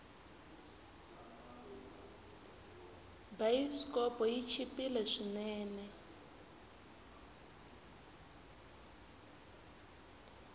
bayisikopo yi chipile swinene